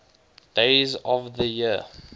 days of the year